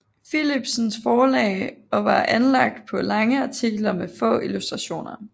Philipsens Forlag og var anlagt på lange artikler med få illustrationer